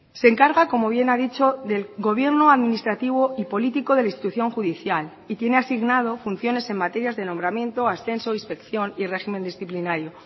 se encarga como bien ha dicho del gobierno administrativo y político de la institución judicial y tiene asignado funciones en materias de nombramiento ascenso inspección y régimen disciplinario